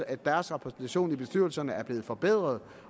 at deres repræsentation i bestyrelserne er blevet forbedret